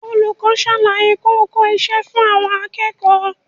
Olùkọ́ ń ṣàlàyé kókó iṣẹ́ fún àwọn akẹ́kọ̀ọ́